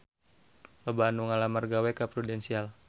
Loba anu ngalamar gawe ka Prudential